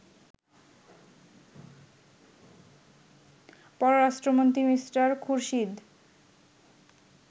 পররাষ্ট্রমন্ত্রী মি. খুরশিদ